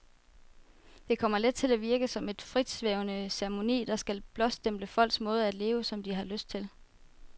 Det kommer let til at virke som en fritsvævende ceremoni, der skal blåstemple folks måde at leve, som de har lyst til.